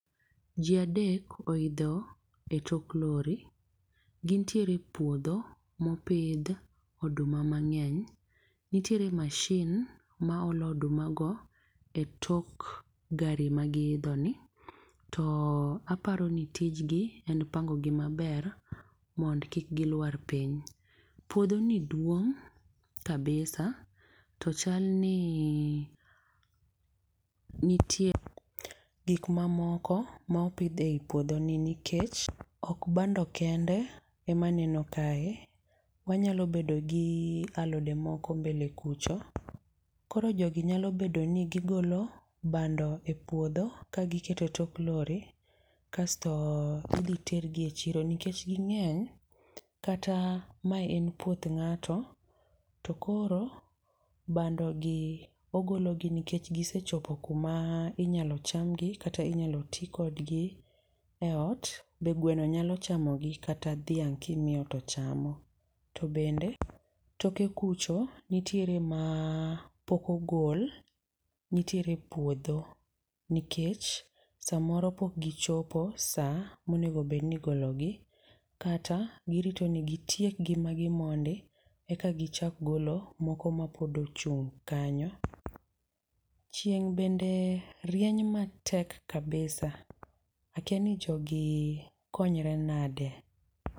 Ji adek oidho e tok lori. Gintiere e puodho mopidh oduma mang'eny. Nitiere mashin ma olo odumago e tok gari magiidhoni. To aparoni tijgi en pango gi maber mond kik gilwar piny. Puodho ni duong' kabisa to chalni nitie gik mamoko ma opidh ei puodho ni. Nikech ok bando kende emaneno kae. Wanyalo bedogi alode moko mbele kucho, koro jogi nyalo bedoni gigolo bando e puodho ka giketo e tok lori, kasto idhi tergi e chiro nikech gi ng'eny kata ma en puoth ng'ato to koro bandogi ogologi nikech gisechopo kuma inyalo chamgi kata inyalo tii kodgi e ot. Be gweno nyalo chamogi, kata dhiang' kimiyo to chamo. To bende toke kucho, nitiere ma pok ogol nitiere puodho nikech, samoro pok gichopo saa monego bed ni igologi. Kata girito ni gitiek gi magi mondi, eka gichak golo moko ma pod ochung' kanyo. Chieng' bende, rieny matek kabisa. Akia ni jogi, konyre nade?